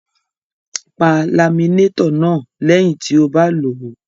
Pa laminétọ̀ náà lẹ́yìn tí o bá lò ó.